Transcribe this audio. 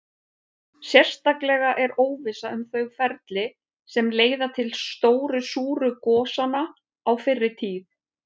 Sérstaklega er óvissa um þau ferli sem leiða til stóru súru gosanna á fyrri tíð.